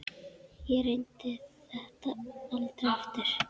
Ég reyndi þetta aldrei aftur.